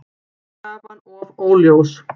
Krafan of óljós